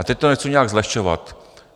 A teď to nechci nijak zlehčovat.